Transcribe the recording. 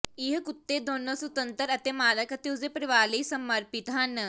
ਇਹ ਕੁੱਤੇ ਦੋਨੋਂ ਸੁਤੰਤਰ ਅਤੇ ਮਾਲਕ ਅਤੇ ਉਸਦੇ ਪਰਿਵਾਰ ਲਈ ਸਮਰਪਿਤ ਹਨ